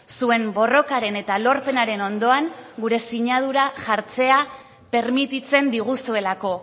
zuen borrokaren eta lorpenaren ondoan gure sinadura jartzea permititzen diguzuelako